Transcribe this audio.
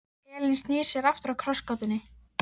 Elín snýr sér aftur að krossgátunni.